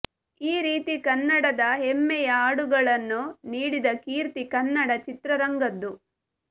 ಈ ರೀತಿ ಕನ್ನಡದ ಹೆಮ್ಮೆಯ ಹಾಡುಗಳನ್ನು ನೀಡಿದ ಕೀರ್ತಿ ಕನ್ನಡ ಚಿತ್ರರಂಗದ್ದು